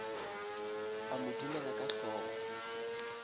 a mo dumela ka hlogo